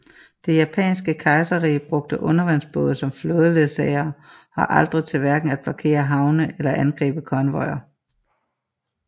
Det japanske kejserrige brugte undervandsbåde som flådeledsagere og aldrig til hverken at blokere havne eller angribe konvojer